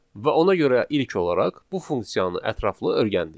Və ona görə ilk olaraq bu funksiyanı ətraflı öyrəndik.